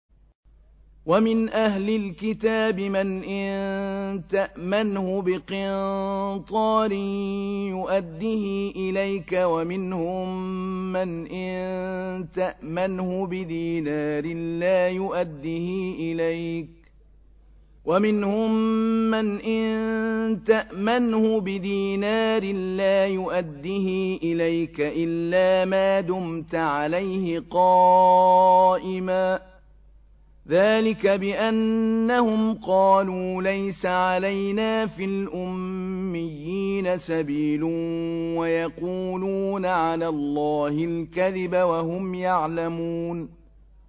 ۞ وَمِنْ أَهْلِ الْكِتَابِ مَنْ إِن تَأْمَنْهُ بِقِنطَارٍ يُؤَدِّهِ إِلَيْكَ وَمِنْهُم مَّنْ إِن تَأْمَنْهُ بِدِينَارٍ لَّا يُؤَدِّهِ إِلَيْكَ إِلَّا مَا دُمْتَ عَلَيْهِ قَائِمًا ۗ ذَٰلِكَ بِأَنَّهُمْ قَالُوا لَيْسَ عَلَيْنَا فِي الْأُمِّيِّينَ سَبِيلٌ وَيَقُولُونَ عَلَى اللَّهِ الْكَذِبَ وَهُمْ يَعْلَمُونَ